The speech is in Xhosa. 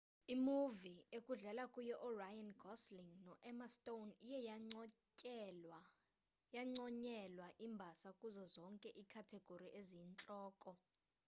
imuvi ekudlala kuyo uryan gosling no-emma stone iye yanconyelwa imbasa kuzo zonke iikhathegori eziyintloko